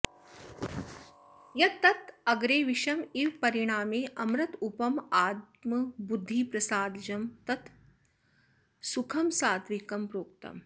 यत् तत् अग्रे विषम् इव परिणामे अमृतोपमम् आत्मबुद्धिप्रसादजं तत् सुखं सात्त्विकं प्रोक्तम्